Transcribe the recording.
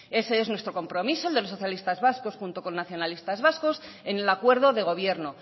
ese es nuestro compromiso el de los socialistas vascos junto con nacionalistas vascos en el acuerdo de gobierno